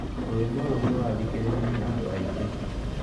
Rwimbo rũu rũrathikĩrĩrio nĩ andũaingĩ